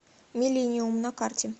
миллениум на карте